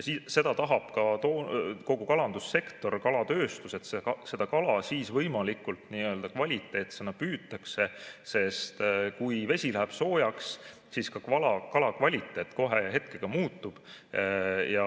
Seda tahab ka kogu kalandussektor, kalatööstus, et kala võimalikult kvaliteetsena püütaks, sest kui vesi läheb soojaks, siis ka kala kvaliteet kohe muutub.